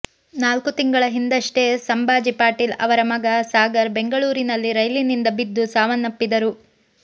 ನಾಲ್ಕು ತಿಂಗಳ ಹಿಂದಷ್ಟೇ ಸಂಭಾಜಿ ಪಾಟೀಲ್ ಅವರ ಮಗ ಸಾಗರ್ ಬೆಂಗಳೂರಿನಲ್ಲಿ ರೈಲಿನಿಂದ ಬಿದ್ದು ಸಾವನ್ನಪ್ಪಿದ್ದರು